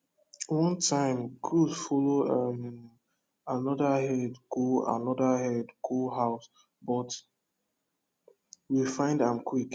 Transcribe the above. one time goat follow um another herd go another herd go house but we find am quick